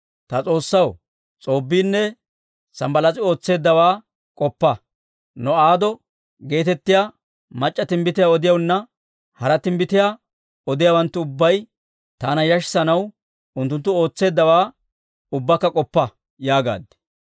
«Ta S'oossaw, S'oobbiinne Sanbbalaas'i ootseeddawaa k'oppa. No'aado geetettiyaa mac'c'a timbbitiyaa odiyaananne hara timbbitiyaa odiyaawanttu ubbay taana yashissanaw unttunttu ootseeddawaa ubbaakka k'oppa» yaagaad.